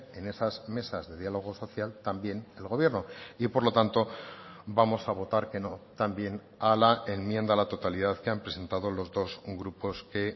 en esas mesas de diálogo social también el gobierno y por lo tanto vamos a votar que no también a la enmienda a la totalidad que han presentado los dos grupos que